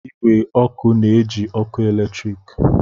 Igwe ọkụ na-eji ọkụ eletrik